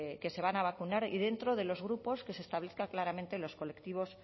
que se van a vacunar y dentro de los grupos que se establezcan claramente los colectivos